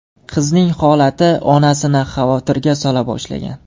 Qizning holati onasini xavotirga sola boshlagan.